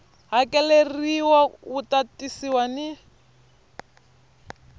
hakeleriwa wu ta tisiwa ni